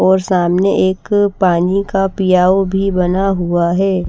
और सामने एक पानी का पियाव भी बना हुआ है।